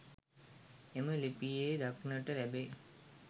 එම ලිපියේ දක්නට ලැබේ.